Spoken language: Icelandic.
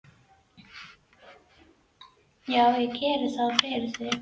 Já, ég geri ráð fyrir því.